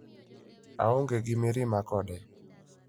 Aonge gi mirima kode".